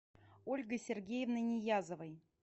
ольгой сергеевной ниязовой